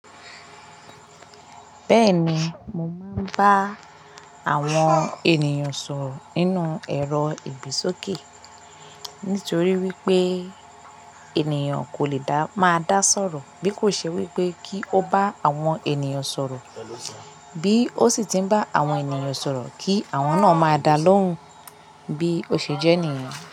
Bẹ́ẹ̀ni, mo máa ń bá àwọn ènìyàn sọ̀rọ̀ nínú ẹ̀rọ ìgbésókè. Nítorí wípé ènìyàn kò lè da máa dá sọ̀rọ̀ bí kò ṣe wípé kí ó bá àwọn ènìyàn sọ̀rọ̀, bí ó sì ti ń bá àwọn ènìyàn sọ̀rọ̀ kí àwọn náà máa dá a lóhùn bí ose jẹ ènìyàn.